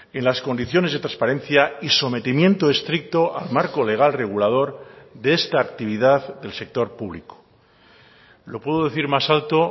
en las condiciones de transparencia y sometimiento estricto al marco legal regulador de esta actividad del sector público lo puedo decir más alto